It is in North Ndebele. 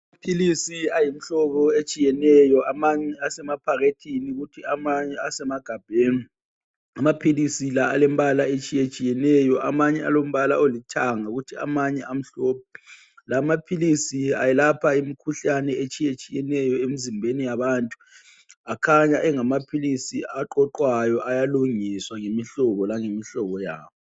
Amaphilisi ayimihlobo etshiyeneyo amanye asemaphakethini kuthi amanye asemagabheni amaphilisi la alembala etshiyeneyo amanye alombala olithanga kuthi amanye amhlophe lamaphilisi ayelapha imikhuhlane etshiyatshiyeneyo emzimbeni yabantu akhanya engamaphilisi aqoqwayo ayalungiswa ngemihlobo langemihlobo yawo.